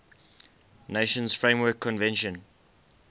nations framework convention